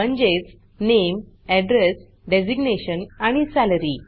म्हणजेच नामे address designation आणि सॅलरी